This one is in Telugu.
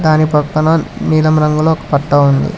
దాని పక్కన నీలం రంగులో పట్టా ఉంది.